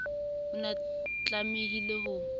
o ne a tlamehile ho